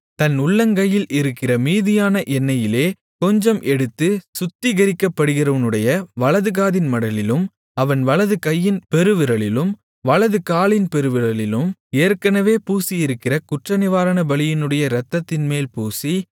தன் உள்ளங்கையில் இருக்கிற மீதியான எண்ணெயிலே கொஞ்சம் எடுத்து சுத்திகரிக்கப்படுகிறவனுடைய வலதுகாதின் மடலிலும் அவன் வலதுகையின் பெருவிரலிலும் வலதுகாலின் பெருவிரலிலும் ஏற்கனவே பூசியிருக்கிற குற்றநிவாரணபலியினுடைய இரத்தத்தின்மேல் பூசி